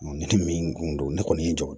Ne tɛ min kun don ne kɔni ye n jɔ